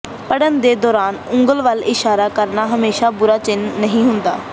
ਪੜ੍ਹਨ ਦੇ ਦੌਰਾਨ ਉਂਗਲ ਵੱਲ ਇਸ਼ਾਰਾ ਕਰਨਾ ਹਮੇਸ਼ਾਂ ਬੁਰਾ ਚਿੰਨ੍ਹ ਨਹੀਂ ਹੁੰਦਾ